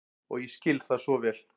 Og ég skil það svo vel.